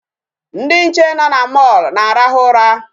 Ndị nche nọ na mall na-arahụ ụra.